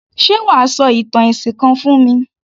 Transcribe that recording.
Ṣé wà á sọ ìtàn ẹ̀sìn kan fún mi?